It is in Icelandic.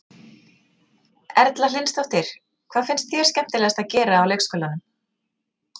Erla Hlynsdóttir: Hvað finnst þér skemmtilegast að gera á leikskólanum?